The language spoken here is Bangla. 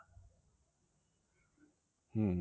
হম